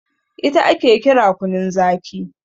ita ake kira kunun Zaki